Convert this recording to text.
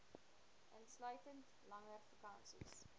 insluitend langer vakansies